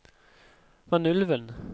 Vanylven